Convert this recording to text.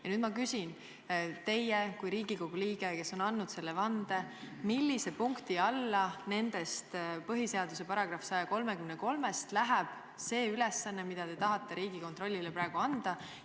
Ja nüüd ma küsin teie kui Riigikogu liikme käest, kes on andnud selle vande: millise punkti alla nendest põhiseaduse §-s 133 loetletutest läheb see ülesanne, mille te tahate Riigikontrollile praegu anda?